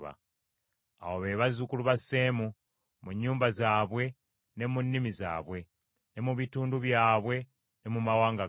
Abo be bazzukulu ba Seemu, mu nnyumba zaabwe, ne mu nnimi zaabwe, ne mu bitundu byabwe ne mu mawanga gaabwe.